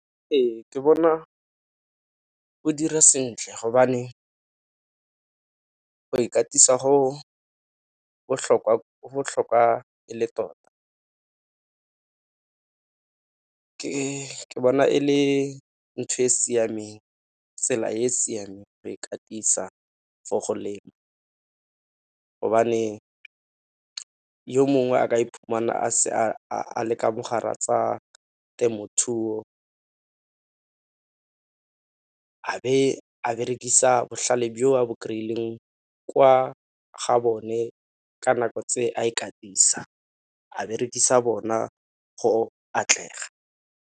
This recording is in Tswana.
Ee, ke bona go dira sentle gobane go ikatisa go botlhokwa e le tota. Ke bona e le ntho e e siameng, tsela e e siameng go ikatisa for go lema gobane yo mongwe a ka iphumana a ka mogare a tsa temothuo a be a berekisa botlhale jo bo kry-ileng kwa ga bone ka nako tse a ikatisa a berekisa bona go atlega.